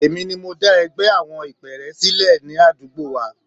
Èmi ni mo dá ẹgbẹ́ àwọn ìpẹ́ẹ́rẹ́ sílẹ̀ ládùúgbò wa.